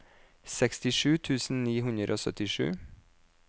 sekstisju tusen ni hundre og syttisju